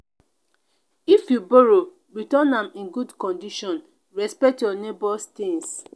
if you borrow return am in good condition; respect your neighbor’s things.